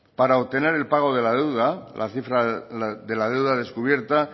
para obtener el pago de la deuda la cifra de la deuda descubierta